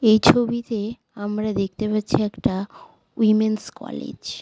এই ছবিতে আমরা দেখতে পাচ্ছি একটা উমেন্স কলেজ ।